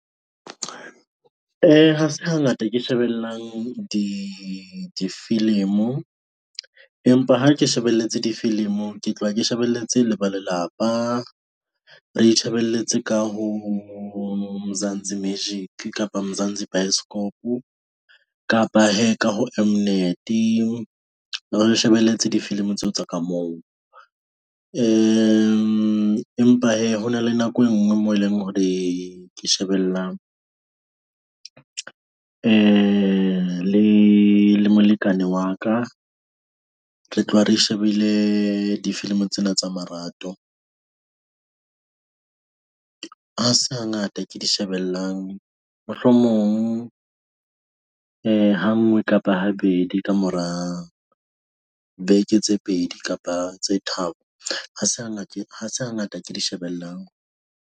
Ha se hangata ke shebellang di difilimo, empa ha ke shebelletse difilimo, ke tloha ke shebelletse le ba lelapa. Re itshebeletse ka ho Mzansi Magic kapa Mzansi Bioscope, kapa hee ka ho M-Net-e re di shebelletse difilimi tseo tsa ka moo . Empa hee ho na le nako e ngwe moo e leng hore ke shebella le, le molekane wa ka. Re tloha re shebelle difilimi tsena tsa marato. Ha se hangata ke di shebellang, mohlomong ha ngwe kapa habedi kamora beke tse pedi kapa tse tharo. Ha se ha ha se hangata ke di shebellang.